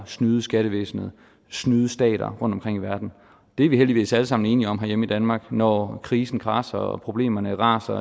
snyde skattevæsenet snyde stater rundtomkring i verden det er vi heldigvis alle sammen enige om herhjemme i danmark når krisen kradser og problemerne raser